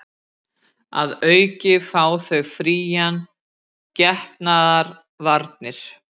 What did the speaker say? Að auki fá þau fríar getnaðarvarnir